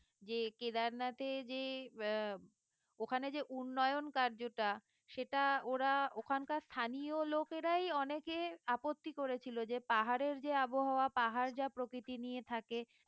যে কেদারনাথে যে আহ উম ওখানে যে উন্নয়ন কার্যটা সেটা ওরা ওখানকার স্থানীয় লোকেরাই অনেকে আপত্তি করেছিল যে পাহাড়ের যে আবহাওয়া পাহাড় যা প্রকৃতি নিয়ে থাকে